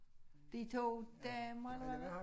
De to damer der var